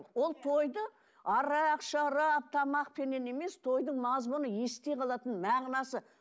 ол тойды арақ шарап тамақпенен емес тойдың мазмұны есте қалатын мағынасы